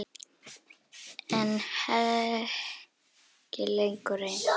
En ekki lengur ein.